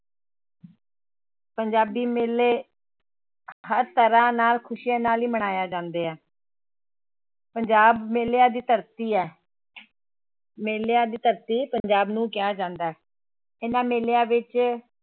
ਪੰਜਾਬੀ ਮੇਲੇ ਹਰ ਤਰ੍ਹਾਂ ਨਾਲ ਖ਼ੁਸ਼ੀਆਂ ਨਾਲ ਹੀ ਮਨਾਏ ਜਾਂਦੇ ਹੇ ਪੰਜਾਬ ਮੇਲਿਆਂ ਦੀ ਧਰਤੀ ਹੈ ਮੇਲਿਆਂ ਦੀ ਧਰਤੀ ਪੰਜਾਬ ਨੂੰ ਕਿਹਾ ਜਾਂਦਾ ਹੈ, ਇਹਨਾਂ ਮੇਲਿਆਂ ਵਿੱਚ